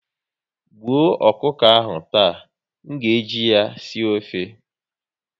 Gbuo ọkụkọ ahụ taa! M ga eji ya sie ofe